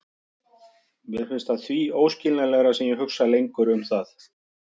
Mér finnst það því óskiljanlegra, sem ég hugsa lengur um það.